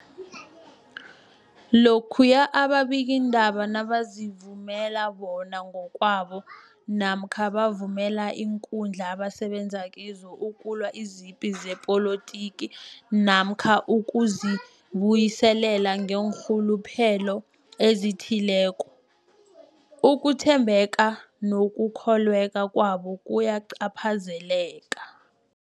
Lokhuya ababikiindaba nabazivumela bona ngokwabo namkha bavumele iinkundla abasebenza kizo ukulwa izipi zepolitiki namkha ukuzi buyiselela ngeenrhuluphelo ezithileko, ukuthembeka nokukholweka kwabo kuyacaphazeleka.